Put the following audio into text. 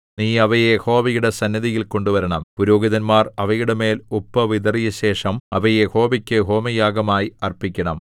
നീ അവയെ യഹോവയുടെ സന്നിധിയിൽ കൊണ്ടുവരണം പുരോഹിതന്മാർ അവയുടെമേൽ ഉപ്പ് വിതറിയശേഷം അവയെ യഹോവയ്ക്കു ഹോമയാഗമായി അർപ്പിക്കണം